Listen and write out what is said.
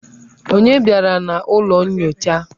Onye bịara n'ụlọ nyocha?